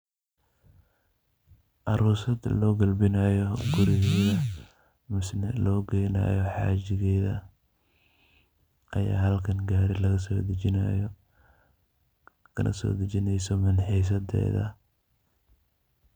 Aroostaa lo kalbinayo Guuregeetha mise setha lo geeynayo xajeeketha Aya halkan gaari laga so dajeenayo waxa kala sodajeeneysoh minxisadeetha .